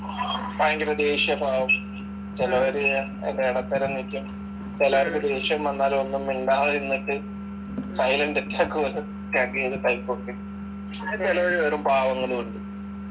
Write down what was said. ഭയങ്കര ദേഷ്യക്കെ ആവും ചിലവര് അതിന്റെ ഇടത്തരം നിക്കും ചിലർക്ക് ദേഷ്യം വന്നാലും ഒന്നും മിണ്ടാതിരുന്നിട്ട് silent attack പോലെ type ഒക്കെ പക്ഷെ ചിലവര് വെറും പാവങ്ങളും ഉണ്ട്